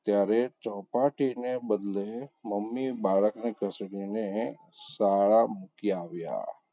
ત્યારે ચોપાટી ને બદલે મમ્મી બાળકને ઘસેડીને શાળા મૂકી આવ્યા.